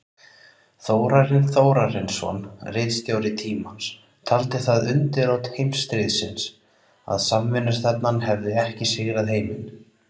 Þórarinn Þórarinsson, ritstjóri Tímans, taldi það undirrót heimsstríðsins, að samvinnustefnan hefði ekki sigrað heiminn.